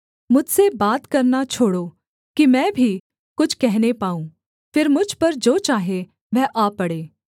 मुझसे बात करना छोड़ो कि मैं भी कुछ कहने पाऊँ फिर मुझ पर जो चाहे वह आ पड़े